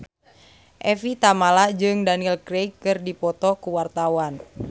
Evie Tamala jeung Daniel Craig keur dipoto ku wartawan